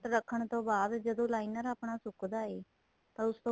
ਰੱਖਣ ਤੋਂ ਬਾਅਦ ਜਦੋਂ liner ਆਪਣਾ ਸੁਕਦਾ ਏ ਤਾਂ ਉਸ ਤੋਂ